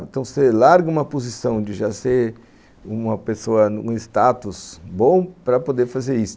Então, você larga uma posição de já ser uma pessoa, um status bom para poder fazer isso.